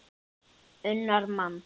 unnar mann.